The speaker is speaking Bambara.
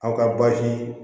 Aw ka baasi